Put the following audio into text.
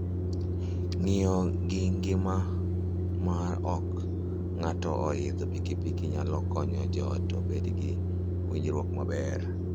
Ng'iyo gi ngima mar ot ka ng'ato oidho pikipiki nyalo konyo joot obed gi winjruok maber.